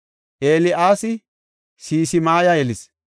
El7aasi Sisimaya yelis;